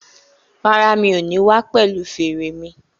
Rárá, mi ò ní wá pẹ̀lu fèrè mi